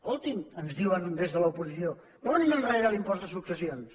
escoltin ens diuen des de l’oposició tornin enrere l’impost de successions